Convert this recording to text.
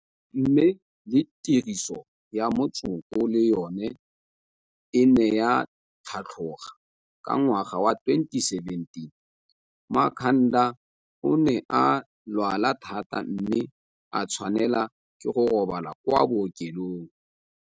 Mme le tiriso ya motsoko le yona e ne ya tlhatloga.. Ka ngwaga wa 2017, Makhanda o ne a lwala thata mme a tshwanelwa ke go robala kwa bookelong.